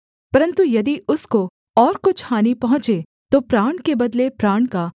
परन्तु यदि उसको और कुछ हानि पहुँचे तो प्राण के बदले प्राण का